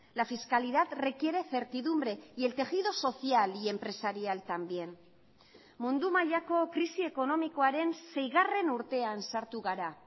la fiscalidad requiere certidumbre y el tejido social y empresarial también mundu mailako krisi ekonomikoaren seigarren urtean sartu gara